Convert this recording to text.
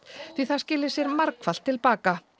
því það skili sér margfalt til baka